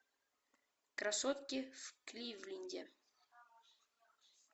красотки в кливленде